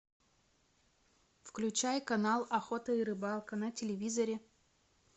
включай канал охота и рыбалка на телевизоре